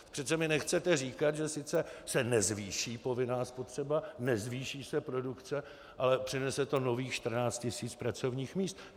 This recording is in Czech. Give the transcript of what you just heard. Přece mi nechcete říkat, že sice se nezvýší povinná spotřeba, nezvýší se produkce, ale přinese to nových 14 tis. pracovních míst.